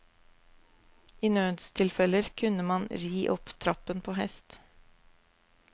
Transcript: I nødstilfeller kunne man ri opp trappen på hest.